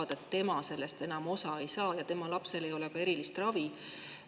sellest enam osa ei saa ja tema lapsele ei ole ka erilist ravi.